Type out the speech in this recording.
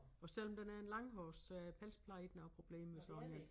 Og selvom den er en langhårs øh pelspleje er ikke noget problem med sådan én